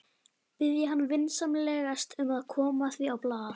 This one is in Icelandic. Biðja hann vinsamlegast um að koma því á blað.